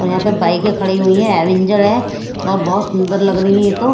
और यहां पे बाइकें खड़ी हुई है अवेंजर है और बहुत सुंदर लग रही है ये तो--